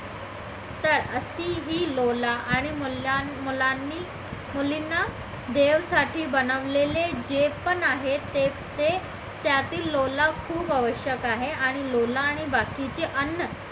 तर अशी ही लोला आणि मुलांनी मुलींना देवासाठी बनवलेले जे पण आहे तेच ते त्यातील लोला खूप आवश्यक आहे आणि लोला आणि बाकीचे अन्न